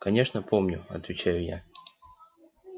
конечно помню отвечаю я